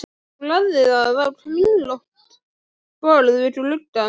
Hún lagði það á kringlótt borð við gluggann.